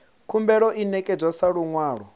khumbelo i ṋekedzwa sa luṅwalo